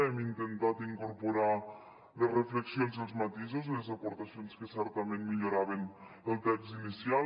hem intentat incorporar les reflexions i els matisos les aportacions que certament milloraven el text inicial